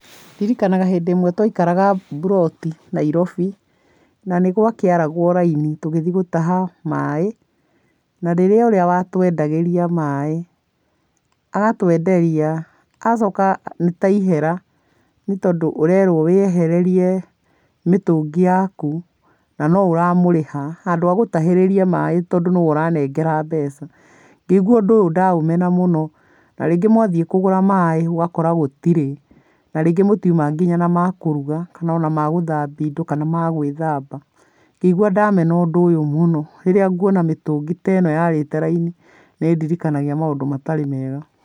Ndirikanaga hĩndĩ ĩmwe twaikaraga mburoti Nairobi na nĩgwakĩaragwo raini tũgĩthiĩ gũtaha maĩ, narĩrĩa ũrĩa watwenagĩria maĩ, agatwenderia agacoka nĩtaihera nĩ tondũ ũrerwo wĩehererie mĩtũngi yaku na noũramũrĩha, handũ agũtahĩrĩrie maĩ tondũ nĩwe ũranengera mbeca. Ngĩigua ũndũ ũyũ ndaũmena mũno. Na rĩngĩ mwathiĩ kũgũra maĩ ũgakora gũtirĩ, na rĩngĩ mũtiuma na nginya makũruga kana ona magũthambia indo, kana magwĩthamba. Ngĩigua ndamena ũndũ ũyũ mũno, rĩrĩa nguona mĩtũngi teno yarĩte raini, nĩĩndirikanagia maũndũ matarĩ mega.